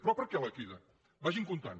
però per què la crida vagin comptant